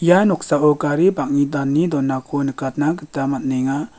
ia noksao gari bang·e dane donako nikatna gita man·enga.